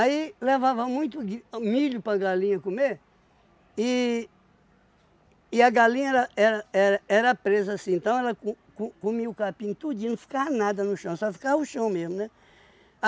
Aí levava muito gui milho para galinha comer, e e a galinha era era era era presa assim, então ela co co comia o capim tudinho, não ficava nada no chão, só ficava o chão mesmo, né?